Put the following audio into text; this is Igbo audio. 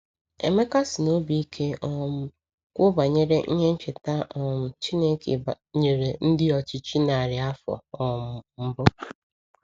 Emeka sị n’obi ike um kwuo banyere ihe ncheta um Chineke nyere ndị ọchịchị narị afọ um mbụ.